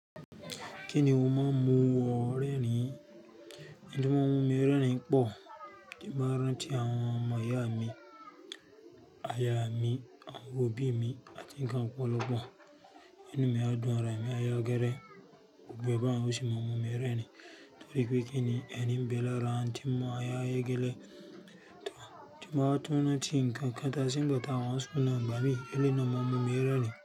Kí ni o máa ń mú wọ rẹ́rìn? Òun tí máa ń mú mi rẹ́rìn-ín pọ̀, tí mo bá rántí àwọn ọmọ ìyá mi, aya mi, àwọn òbí mi àti ńǹkan ọ̀pọ̀lọpọ̀. Inú á dùn, ara mi á yá gẹ́rẹ́, gbogbo ẹ̀ bá hun ò sí máa ń mú mi rẹ́rìn-ín. Torí pé kí ni? Ẹ̀rín ń bẹ lára òun tí ń mú ara yá gẹ́lẹ́. Tí mo bá tún rántí ńǹkan kan tàse ńgba tà wa school náà, ìgbà mìí, eléyí náà máa ń mú mi rẹ́rìn-ín.